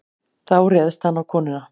Þá réðst hann á konuna.